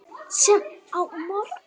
Sem á morgun.